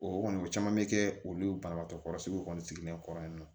O kɔni o caman bɛ kɛ olu banabagatɔ kɔrɔsigiw kɔni sigilen kɔrɔ yan nɔ